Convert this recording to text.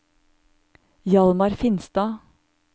Hjalmar Finstad